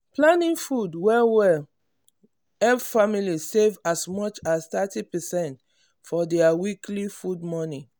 planning food well well help family save as much as thirty percentage for their weekly food money.